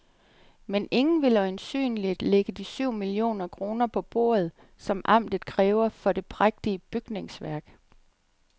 Men ingen vil øjensynligt lægge de syv millioner kroner på bordet, som amtet kræver for det prægtige bygningsværk.